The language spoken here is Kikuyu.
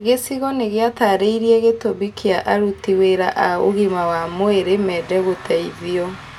Gĩcigo nĩgĩatarĩirie gĩtũmi kia aruti wĩra a ũgima wa mwĩrĩ mende gũteithio